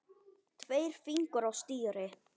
Tveir fingur á stýri.